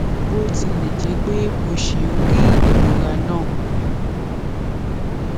bó tilẹ jẹ pé mo ṣì ń rí ìrora náà